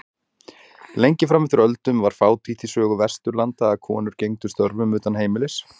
Lengi fram eftir öldum var fátítt í sögu Vesturlanda að konur gegndu störfum utan heimilis.